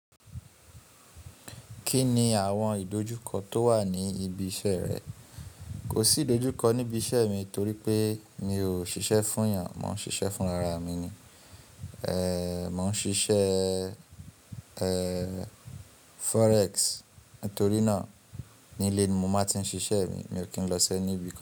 Kí ni àwọn ìdojúkọ tó wà ní ibi iṣẹ́ rẹ? Kò sí ìdojúkọ níbi iṣẹ́ mi torí pé mi ò ṣiṣẹ́ fún èèyàn, mò ń ṣiṣẹ́ fún ara mi ni. Mo n ṣiṣẹ́ Forex, nítorí náà nílé ni mo máa ti ń ṣiṣẹ́ mi. Mi ò kí n lọ si?